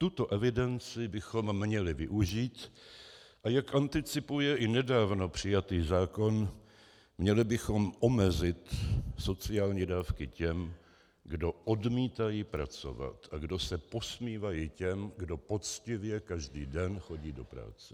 Tuto evidenci bychom měli využít, a jak anticipuje i nedávno přijatý zákon, měli bychom omezit sociální dávky těm, kdo odmítají pracovat a kdo se posmívají těm, kdo poctivě každý den chodí do práce.